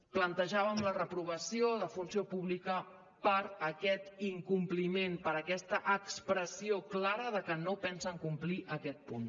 plantejàvem la reprovació de funció pública per aquest incompliment per aquesta expressió clara de que no pensen complir aquest punt